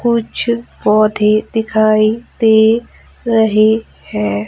कुछ पौधे दिखाई दे रहे हैं।